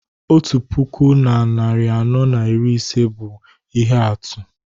Otu puku na narị anọ na iri ise bụ ihe atụ